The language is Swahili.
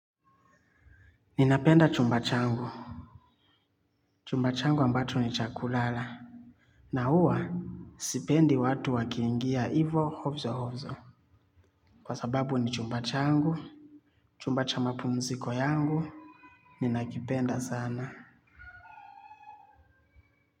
Ninapenda chumba changu. Chumba changu ambacho ni chakulala. Na huwa sipendi watu wakiingia ivo hofzo hofzo. Kwa sababu ni chumba changu. Chumba cha mapumziko yangu. Ninakipenda sana.